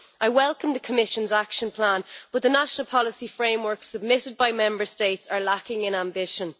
I welcome the Commission's Action Plan but the national policy frameworks submitted by Member States are lacking in ambition.